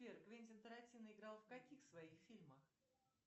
сбер квентин тарантино играл в каких своих фильмах